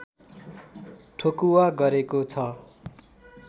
ठोकुवा गरेको छ